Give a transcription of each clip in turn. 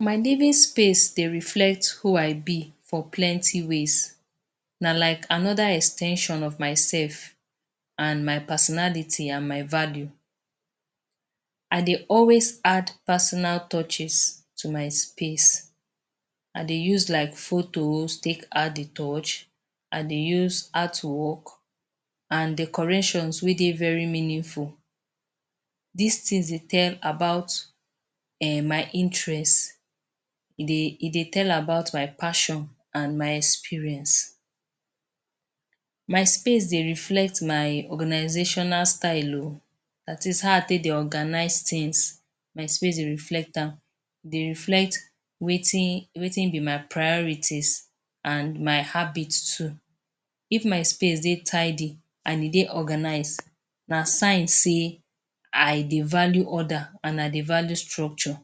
My living space dey reflect who I be for plenty ways, na like another ex ten sion of myself and my personality and my value. I dey always add personal touches to my space, I dey use like photos take add de touch, I dey use artwork and decorations wey dey very meaningful. Dis things dey tell about um my interest, e dey e dey tell about my passion and my experience. My space dey reflect my organisational style oo; dat is how I take dey organize things my space dey reflect am. E dey reflect wetin wetin be my priorities and my habit too. If my space dey tidy and e dey organise na sign sey I dey value order and I dey value structure.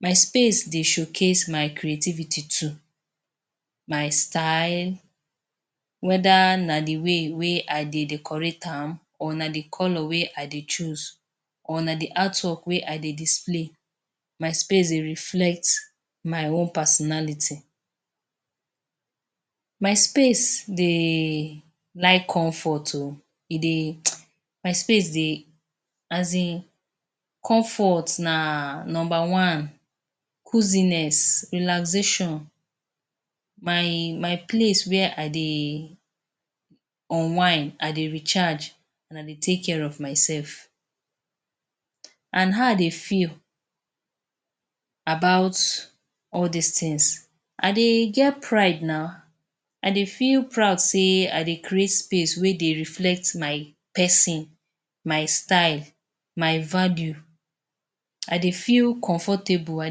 My space dey showcase my creativity too, my style, whether na de way wey I decorate am or na de colour wey I dey choose or na de artwork wey I dey display; my space dey reflect my own personality. My space dey like comfort oo, e dey? My space dey as in comfort na number one. Cruisiness, relaxation my my place wey I dey unwind, I dey recharge and I dey take care of mysef. And how I dey feel about all these things, I dey get pride na. I dey feel proud sey I dey create space wey dey reflect my person, my style, my value. I dey feel comfortable, I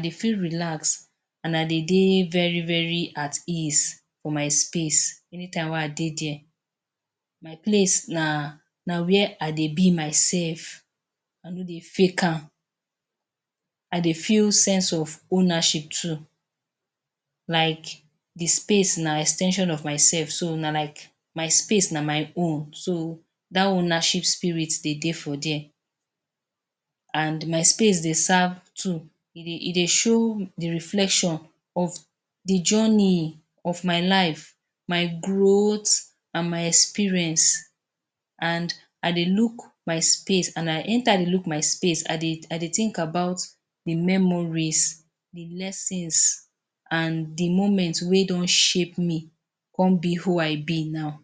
dey feel relaxed and I dey dey very very at ease for my space anytime wey I dey there. My place na na where I dey be mysef, I no dey fake am. I dey feel sense of ownership too like de space na ex ten sion of mysef so na like my space na my own so dat ownership spirit dey dey for there and my space dey serve too. E dey show de reflection of de journey of my life, my growth and my experience and I dey look my space and I anytime wey I look my space I dey think about de memories, de lesson and de moment wey don shape me con be who I be now.